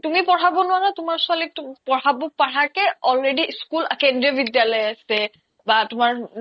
তুমি পঢ়াব নোৱাৰা তোমাৰ ছোৱালীক পঢ়াব পাৰা কে already school আছে school কেন্দ্ৰীয় বিদ্যালয় বা